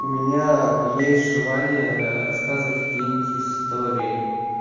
у меня есть желание рассказывать какие-нибудь истории